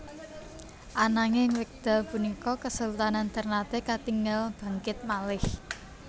Ananging wekdal punika kesultanan Ternate katingal bangkit malih